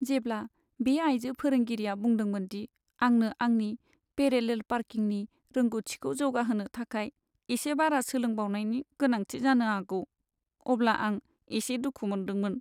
जेब्ला बे आइजो फोरोंगिरिआ बुंदोंमोन दि आंनो आंनि पेरेलेल पार्किंनि रोंग'थिखौ जौगाहोनो थाखाय एसे बारा सोलोंबावनायनि गोनांथि जानो हागौ, अब्ला आं एसे दुखु मोनदोंमोन।